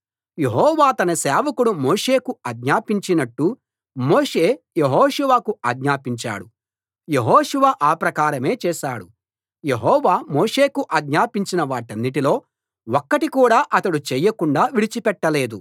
యెహోవా తన సేవకుడు మోషేకు ఆజ్ఞాపించినట్టు మోషే యెహోషువకు ఆజ్ఞాపించాడు యెహోషువ ఆప్రకారమే చేశాడు యెహోవా మోషేకు ఆజ్ఞాపించిన వాటన్నిటిలో ఒక్కటి కూడా అతడు చేయకుండా విడిచిపెట్టలేదు